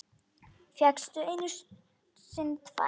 Fékk einu sinni tvær.